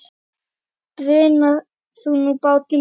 Bruna þú nú, bátur minn.